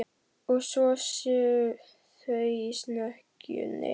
Og svo séu þau í snekkjunni.